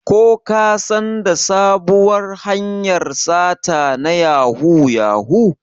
Ko kasan da sabuwar hanyar sata na yahoo yahoo?